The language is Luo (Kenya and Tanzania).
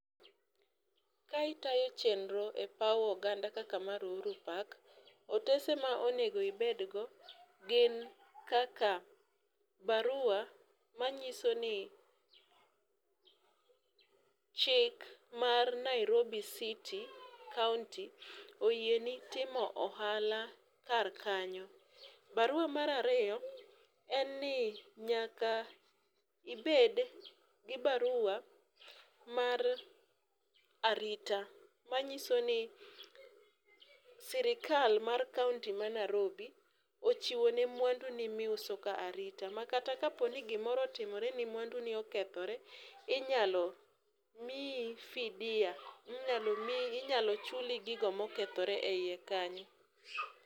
Ka itayo chenro e paw oganda kaka mar ohuru park otese ma onego ibedgio gin kaka barua manyiso ni chik mar Nairobi city county oyieni timo ohala kar kanyo. Barua mar ariyo en ni nyaka ibed gi barua mar arita manyiso ni sirikal mar kaunti ma Narobi ochiwone mwandu ni miuso ka arita makata kaponi gimoro otimoreni mwandu ni okethore, inyalo miyi fidia inyalo miyi inyalo chuli gigo mokethiore eiye kanyo.